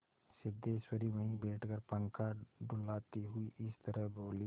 सिद्धेश्वरी वहीं बैठकर पंखा डुलाती हुई इस तरह बोली